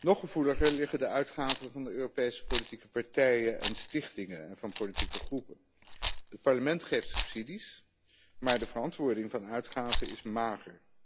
Nog gevoeliger liggen de uitgaven van de Europese politieke partijen en stichtingen van politieke groepen. Het Parlement geeft subsidies, maar de verantwoording van de uitgaven is mager.